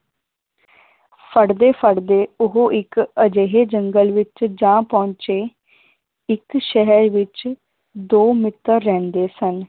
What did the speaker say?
ਫੜਦੇ ਫੜਦੇ ਉਹ ਇੱਕ ਅਜਿਹੇ ਜੰਗਲ ਵਿਚ ਜਾ ਪਹੁੰਚੇ ਇਕ ਸ਼ਹਿਰ ਵਿਚ ਦੋ ਮਿੱਤਰ ਰਹਿੰਦੇ ਸਨ।